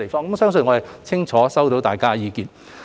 我相信我們已清楚知道大家的意見。